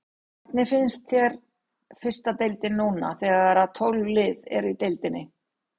Hvernig finnst þér fyrsta deildin núna þegar að tólf lið eru í deildinni?